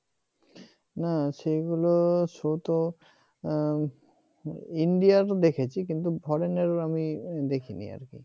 না সেগুলো শো ট ইন্ডিয়ার তো দেখেছি কিন্তু Foreign আমি দেখিনি আর কি